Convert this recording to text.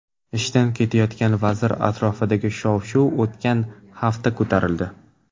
Ishdan ketayotgan vazir atrofidagi shov-shuv o‘tgan hafta ko‘tarildi.